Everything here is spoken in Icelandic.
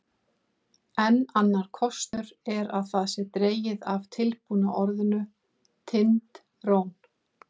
Enn annar kostur er að það sé dregið af tilbúna orðinu Tind-trón.